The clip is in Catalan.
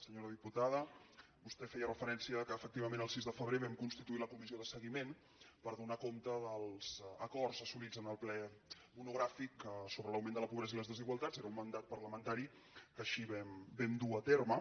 senyora diputada vostè feia referència que efectivament el sis de febrer vam constituir la comissió de seguiment per donar compte dels acords assolits en el ple monogràfic sobre l’augment de la pobresa i les desigualtats era un mandat parlamentari que així vam dur a terme